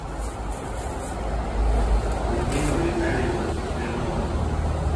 людмила витальевна смирнова